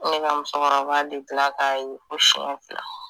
Ne ka musokɔrɔba bɛ tila k'a ye fo siɲɛ fila